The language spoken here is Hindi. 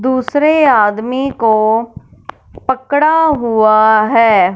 दूसरे आदमी को पकड़ा हुआ है।